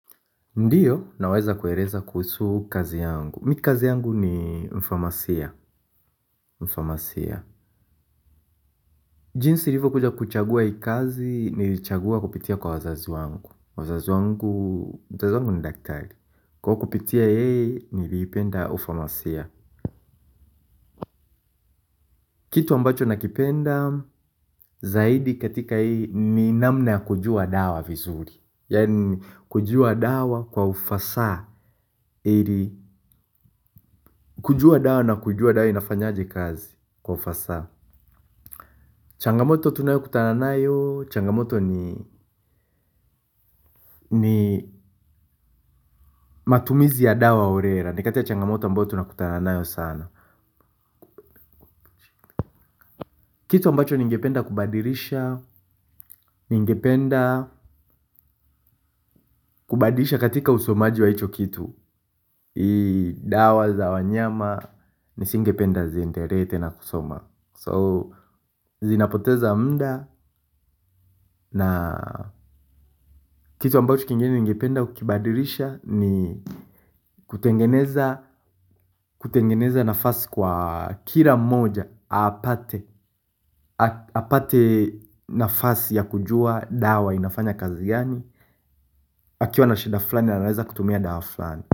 Ndiyo, naweza kueleza kuhusu kazi yangu. Mikazi yangu ni mfamasia. Jinsi nilivo kuja kuchagua hii kazi, nilichagua kupitia kwa wazazi wangu. Wazazi wangu, wazazi wangu ni daktari. Kwa hio kupitia yeye niliipenda pharmacia. Kitu ambacho nakipenda, zaidi katika hii, ni namna kujua dawa vizuri. Yani kujua dawa kwa ufasaha. Kujua dawa na kujua dawa inafanyaji kazi kwa ufasaha. Changamoto tunayo kutananayo changamoto ni matumizi ya dawa orera. Nikatia changamoto ambayo tunakutananayo sana. Kitu ambacho ningependa kubadirisha ningependa kubadirisha katika usomaji wa hicho kitu ii dawa za wanyama nisingependa ziendelee te na kusoma So, zinapoteza muda na kitu ambacho kingeni ingependa kukibadirisha ni kutengeneza nafasi kwa kila mmoja. Apate nafasi ya kujua dawa inafanya kazi gani. Akiwa na shida flani, anaweza kutumia dawa flani.